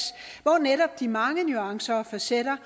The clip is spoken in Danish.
hvor netop de mange nuancer og facetter